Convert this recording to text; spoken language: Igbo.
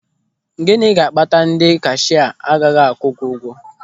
Gịnị ga-akpata na kashịa agaghị akwụ gị ụgwọ?